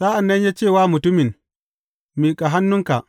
Sa’an nan ya ce wa mutumin, Miƙa hannunka.